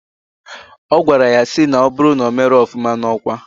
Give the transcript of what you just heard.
Ogwara ya si na oburu na omero ofuma na okwa..